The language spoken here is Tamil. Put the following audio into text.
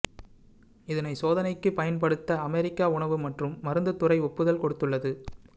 இதனை சோதனைக்கு பயன்படுத்த அமெரிக்க உணவு மற்றும் மருந்து துறை ஒப்புதல் கொடுத்துள்ளது